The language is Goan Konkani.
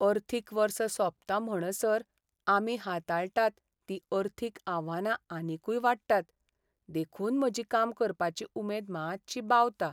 अर्थीक वर्स सोंपता म्हणसर, आमी हाताळटात ती अर्थीक आव्हानां आनीकूय वाडटात, देखून म्हजी काम करपाची उमेद मात्शी बावता.